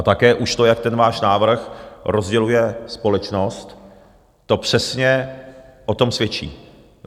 A také už to, jak ten váš návrh rozděluje společnost, to přesně o tom svědčí.